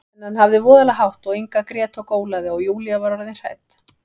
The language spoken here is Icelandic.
En hann hafði voðalega hátt og Inga grét og gólaði, og Júlía var orðin hrædd.